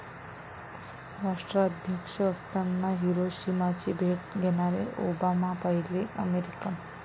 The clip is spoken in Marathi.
राष्ट्राध्यक्ष असताना हिरोशिमाची भेट घेणारे ओबामा पहिले अमेरिकन.